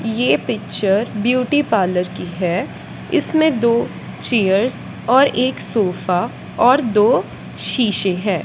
ये picture beauty parlour की है। इसमें दो चीयर्स और एक सोफा और दो शीशे है।